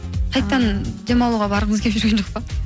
қайтадан демалуға барғыңыз келіп жүрген жоқ па